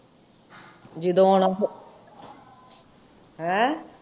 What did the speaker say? ਜਿਦੋ ਆਉਣਾ ਹੋਏ ਹੈਂ?